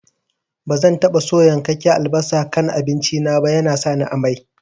Bazan taɓa so yankakken albasa a kan abinci na ba, yana sani amai